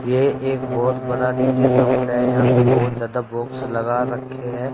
यह एक बहुत बड़ा डी_जे साउंड है यहां पे बहुत ज्यादा बॉक्स लगा रखे हैं।